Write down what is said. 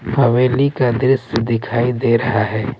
हवेली का दृश्य दिखाई दे रहा है।